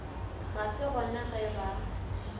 ga se gona ge ba